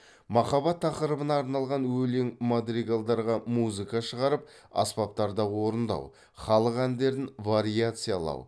махаббат тақырыбына арналған өлең мадригалдарға музыка шығарып аспаптарда орындау халық әндерін вариациялау